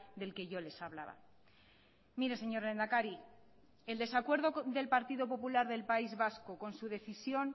del que yo les hablaba mire señor lehendakari el desacuerdo del partido popular del país vasco con su decisión